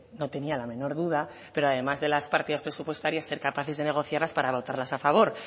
no tenía la menor duda pero además de las partidas presupuestarias ser capaces de negociarlas para votarlas a favor